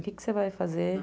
O que que você vai fazer?